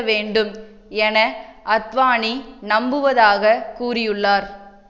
வேண்டும் என அத்வானி நம்புவதாக கூறியுள்ளார்